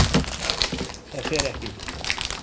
ÞAÐ FER EKKI